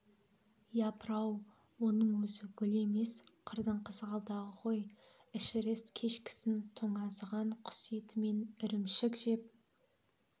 япырау оның өзі гүл емес қырдың қызғалдағы ғой эшерест кешкісін тоңазыған құс еті мен ірімшік жеп